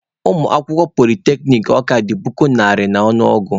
Ụmụ akwụkwọ polyteknic Oko dị puku iri n'ọnụ ọgụ.